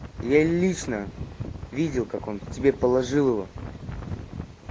я лично видел как он тебе положил его